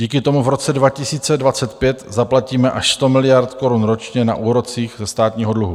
Díky tomu v roce 2025 zaplatíme až 100 miliard korun ročně na úrocích ze státního dluhu.